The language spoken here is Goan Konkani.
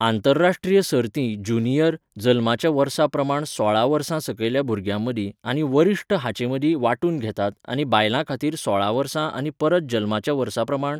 आंतरराष्ट्रीय सर्तीं ज्युनियर, जल्माच्या वर्सा प्रमाण सोळा वर्सां सकयल्या भुरग्यांमदीं आनी वरिश्ठ हांचेमदीं वांटून घेतात आनी बायलां खातीर सोळा वर्सां आनी परत जल्माच्या वर्सा प्रमाण.